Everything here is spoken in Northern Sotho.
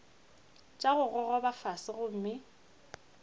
tša go gogoba fase gomme